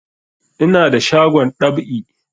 Ina da shagon dab'i